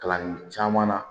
Kalan caman na